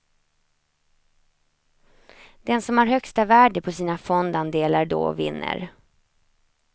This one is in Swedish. Den som har högsta värde på sina fondandelar då vinner.